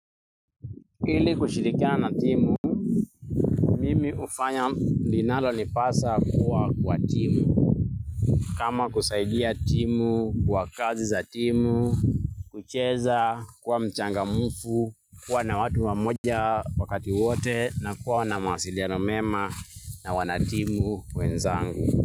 Ili kushirikiana timu, mimi hufanya linalo nipasa kuwa kwa timu. Kama kusaidia timu kwa kazi za timu kucheza kuwa mchangamfu kuwa na watu wamoja kwa wakati wote kuwa na mawasiliano mema na wanatimu wenzangu.